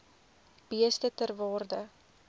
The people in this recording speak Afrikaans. beeste ter waarde